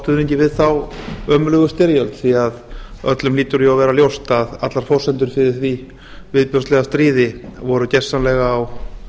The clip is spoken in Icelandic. stuðningi við þá ömurlegu styrjöld því að öllum hlýtur jú að vera ljóst að allar forsendur fyrir því viðbjóðslega stríði voru gersamlega á